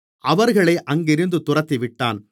அவர்களை அங்கிருந்து துரத்திவிட்டான்